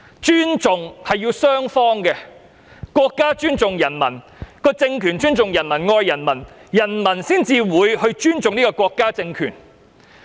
尊重是雙方面的，國家政權尊重人民及愛人民，人民才會尊重國家政權。